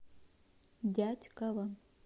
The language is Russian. дятьково